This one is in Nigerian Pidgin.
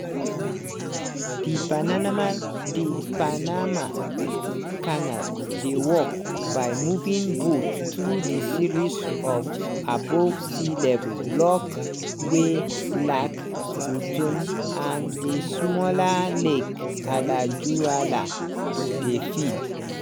di panaama panama canal dey work by moving boats through the series of above-sea-level locks wey lak gatún and di smaller lake alajuela dey feed.